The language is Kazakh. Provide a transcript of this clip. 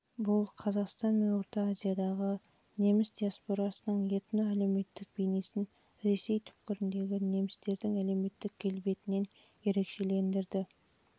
бұл қазақстан мен орта азиядағы неміс диаспорасының этно-әлеуметтік бейнесін ресей түкпірлеріндегі немістердің әлеуметтік келбетінен ерекшелендірді